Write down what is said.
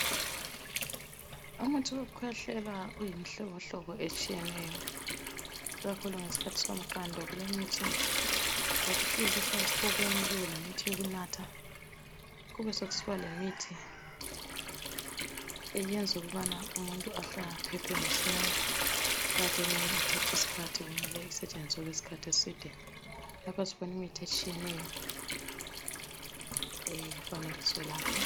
Umuthi wokukhwehlela ungumuhlobo hlobo otshiyeneyo ikakhulu ngesikhathi somqando kulemithi yokuhlikihla esifubeni, kube lemithi yokunatha kube sokusiba lemithi eyenza ukubana umuntu aphephe masinyane kanti eminye ithatha isikhathi kumele isebenze isikhathi eside, lapha sibona imithi etshiyeneyo efanekiswe lapha.